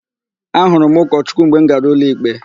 Ahụrụ m ụkọchukwu mgbe m gara ụlọikpe.